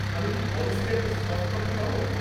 আমি কি পলিসির একটা সফট কপি পাব?